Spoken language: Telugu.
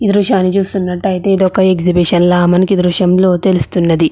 ఈ దృశ్యాన్ని చూస్తున్నట్లయితే మనకి ఒక ఎగ్జిబిషన్ లాగా మనకి దృశ్యంలో తెలుస్తుంది.